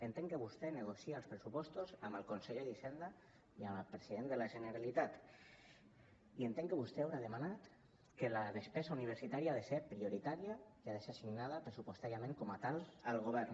entenc que vostè negocia els pressupostos amb el conseller d’hisenda i amb el president de la generalitat i entenc que vostè deu haver demanat que la despesa universitària ha de ser prioritària i ha de ser assignada pressupostàriament com a tal al govern